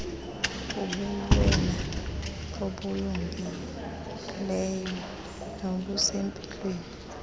kubuwena obungileyo nobusempilweni